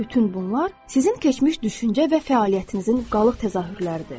Bütün bunlar sizin keçmiş düşüncə və fəaliyyətinizin qalıq təzahürləridir.